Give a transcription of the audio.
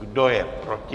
Kdo je proti?